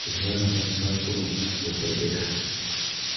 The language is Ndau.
kuti vanokwanisa kunoona dhogodheya.